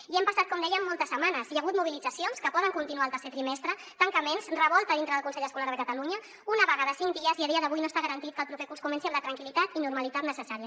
i han passat com deia moltes setmanes hi ha hagut mobilitzacions que poden continuar el tercer trimestre tancaments revolta dintre del consell escolar de catalunya una vaga de cinc dies i a dia d’avui no està garantit que el proper curs comenci amb la tranquil·litat i normalitat necessàries